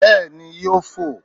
Béèni yóò fò